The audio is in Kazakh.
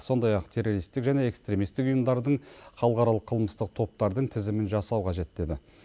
сондай ақ террористік және экстремистік ұйымдардың халықаралық қылмыстық топтардың тізімін жасау қажет деді